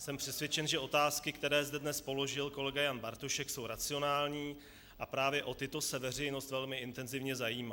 Jsem přesvědčen, že otázky, které zde dnes položil kolega Jan Bartošek, jsou racionální, a právě o tyto se veřejnost velmi intenzivně zajímá.